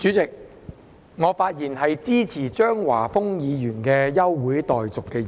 代理主席，我發言支持張華峰議員提出的休會待續議案。